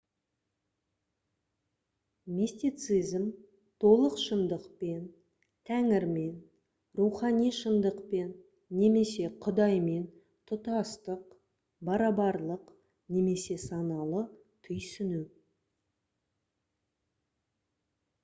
мистицизм толық шындықпен тәңірмен рухани шындықпен немесе құдаймен тұтастық барабарлық немесе саналы түйсіну